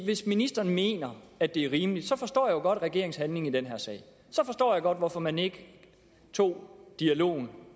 hvis ministeren mener at det er rimeligt så forstår jeg jo godt regeringens handling i den her sag så forstår jeg godt hvorfor man ikke tog dialogen